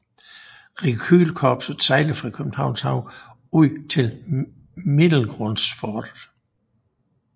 Rekylkorpset sejler fra Københavns Havn ud til Middelgrundsfortet